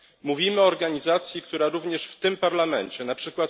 Mówimy o organizacji, która również w tym Parlamencie, np.